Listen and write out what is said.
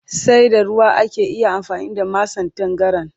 Sai da ruwa ake iya amfani da masan tangaran